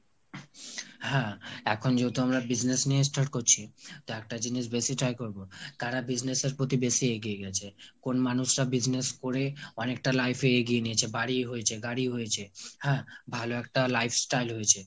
হ্যাঁ, এখন যেহেতু আমরা business নিয়ে start করছি তা একটা জিনিস বেশি try করবো কারা business এর প্রতি বেশি এগিয়ে গেছে। কোন মানুষটা business করে অনেকটা life এ এগিয়ে নিয়েছে। বাড়ি হয়েছে, গাড়ি হয়েছে। হ্যাঁ ভালো একটা lifestyle হয়েছে।